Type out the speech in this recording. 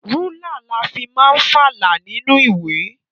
Rúlà la fi máa ń falà nínú ìwé.